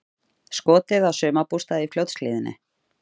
Skotið á sumarbústað í Fljótshlíðinni